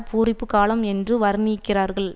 பூரிப்பு காலம் என்று வர்ணிக்கிறார்கள்